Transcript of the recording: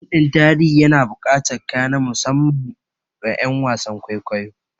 Fim ɗin tarihi yana bukatar kaya na musamman ma wa ƴan wasan kwaikwayo